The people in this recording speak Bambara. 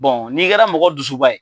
n'i kɛra mɔgɔ dusuba ye